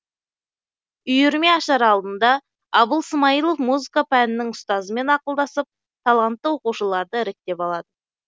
үйірме ашар алдында абыл смайылов музыка пәнінің ұстазымен ақылдасып талантты оқушыларды іріктеп алады